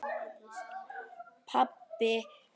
Það er bráðin sem mæðist.